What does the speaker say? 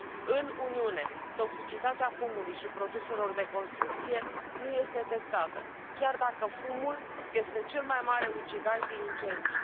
În Uniune, toxicitatea fumului și a produselor de construcție nu este testată, chiar dacă fumul este cel mai mare ucigaș din incendii.